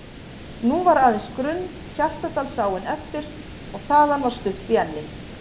Nú var aðeins grunn Hjaltadalsáin eftir og þaðan var stutt í Enni